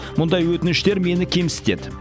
мұндай өтініштен мені кемсітеді